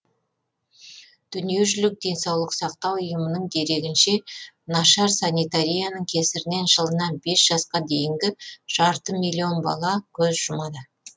дүниежүзілік денсаулық сақтау ұйымының дерегінше нашар санитарияның кесірінен жылына бес жасқа дейінгі жарты миллион бала көз жұмады